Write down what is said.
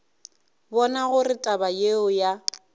bona gore taba yeo ya